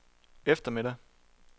eftermiddag